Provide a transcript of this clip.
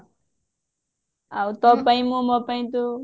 ଆଉ ତୋ ପାଇଁ ମୁଁ ମୋ ପାଇଁ ତୁ